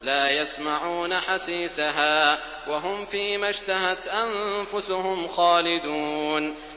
لَا يَسْمَعُونَ حَسِيسَهَا ۖ وَهُمْ فِي مَا اشْتَهَتْ أَنفُسُهُمْ خَالِدُونَ